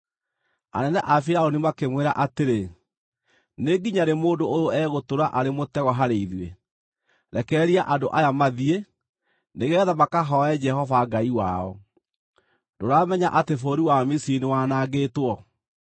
Anene a Firaũni makĩmwĩra atĩrĩ, “Nĩ nginya rĩ mũndũ ũyũ egũtũũra arĩ mũtego harĩ ithuĩ? Rekereria andũ aya mathiĩ, nĩgeetha makahooe Jehova Ngai wao. Ndũramenya atĩ bũrũri wa Misiri nĩwanangĩtwo?”